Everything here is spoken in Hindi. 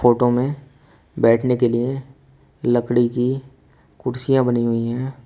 फोटो में बैठने के लिए लकड़ी की कुर्सियां बनी हुई हैं।